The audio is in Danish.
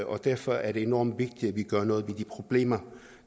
og derfor er det enormt vi gør noget ved de problemer